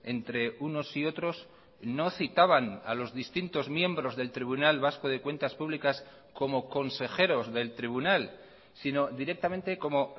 entre unos y otros no citaban a los distintos miembros del tribunal vasco de cuentas públicas como consejeros del tribunal sino directamente como